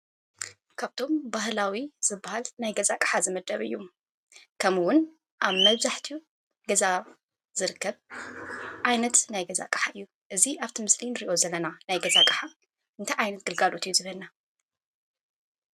ካብቶም ባህላዊ ዝባሃል ናይ ገዛ ኣቅሓ ዝምደብ እዩ። ከምእውን ኣብ መብዛሕቲኡ ገዛ ዝርከብ ዓይነት ናይ ገዛ ኣቀሓ እዩ። እዚ ኣብቲ ምስሊ ንርእዮ ዘለና ናይ ገዛ ኣቅሓ እንታይ ዓይነት ገልጋሎት እዩ ዝህበና ?